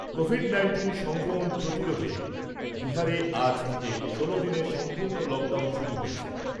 Covid nineteen সংক্রমণ প্রতিরোধে বিহারে আজ থেকে ষোলো দিনের সম্পূর্ণ লকডাউন শুরু হয়েছে।